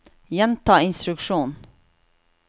gjenta instruksjon